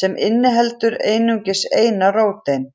sem inniheldur einungis eina róteind.